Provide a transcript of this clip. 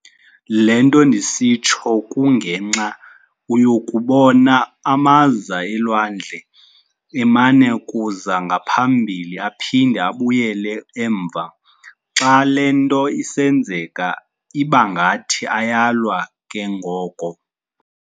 Lento ndisitsho kunge nxa uyokubona amaza elwandle emana kuza ngaphambili aphinde abuyele emva, xa lento isenzeka ibangathi ayalwa kengoko